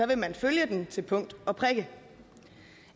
vil man følge den til punkt og prikke